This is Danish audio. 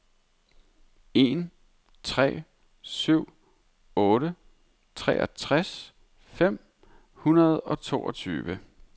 en tre syv otte treogtres fem hundrede og toogtyve